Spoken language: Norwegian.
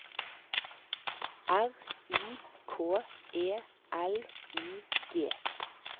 R I K E L I G